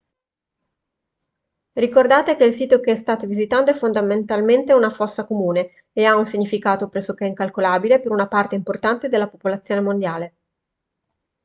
ricordate che il sito che state visitando è fondamentalmente una fossa comune e ha un significato pressoché incalcolabile per una parte importante della popolazione mondiale